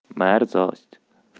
мерзость